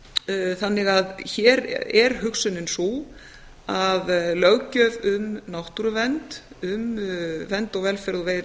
meginatriðum þannig að hér er hugsunin sú að löggjöf um náttúruvernd um vernd velferð og